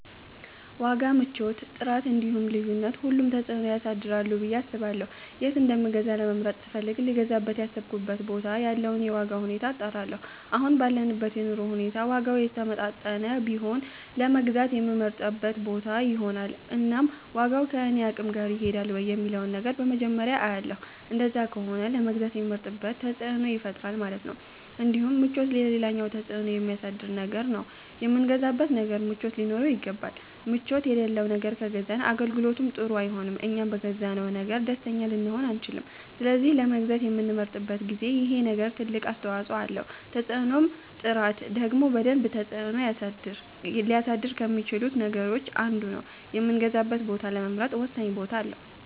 ዋጋ፣ ምቾት፣ ጥራት እንዲሁም ልዩነት ሁሉም ተፅእኖ ያሳድራሉ ብየ አስባለሁ የት እንደምገዛ ለመምረጥ ስፈልግ ልገዛበት ያሰብኩበት ቦታ ያለውን የዋጋ ሁኔታ አጣራለሁ አሁን ባለንበት የኑሮ ሁኔታ ዋጋው የተመጣጠነ ቢሆን ለመግዛት የምመርጠው ቦታ ይሆናል እናም ዋጋው ከኔ አቅም ጋር ይሄዳል ወይ የሚለውን ነገር በመጀመርያ አያለሁ እንደዛ ከሆነ ለመግዛት የምመርጥበት ተፅእኖ ይፈጥራል ማለት ነው እንዲሁም ምቾት ሌላኛው ተፅእኖ የሚያሳድር ነገር ነው የምንገዛው ነገር ምቾት ሊኖረው ይገባል ምቾት የለለው ነገር ከገዛን አገልግሎቱም ጥሩ አይሆንም እኛም በገዛነው ነገር ደስተኛ ልንሆን አንቺልም ስለዚህ ለመግዛት በምንመርጥበት ጊዜ ይሄ ነገር ትልቅ አስተዋፀኦ አለው ተፅእኖም ጥራት ደግሞ በደንብ ተፅእኖ ሊያሳድር ከሚቺሉት ነገሮች አንዱ ነው የምገዛበትን ቦታ ለመምረጥ ወሳኝ ቦታ አለው